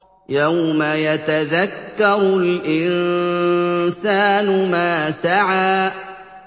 يَوْمَ يَتَذَكَّرُ الْإِنسَانُ مَا سَعَىٰ